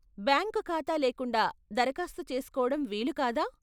Bank ఖాతా లేకుండా దరఖాస్తు చేసుకోవడం వీలు కాదా?